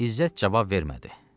İzzət cavab vermədi.